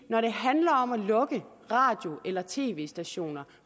når det handler om at lukke radio eller tv stationer